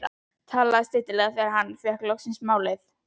Talaði stillilega þegar hann fékk loks málið.